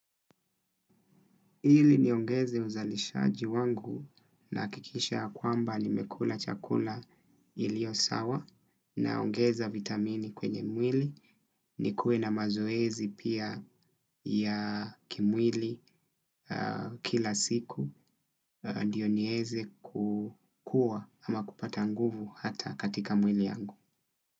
Ili niongeze uzalishaji wangu na hakikisha kwamba nimekula chakula iliyo sawa, naongeza vitamini kwenye mwili nikue na mazoezi pia ya kimwili kila siku ndiyo nieze kukuwa ama kupata nguvu hata katika mwili yangu.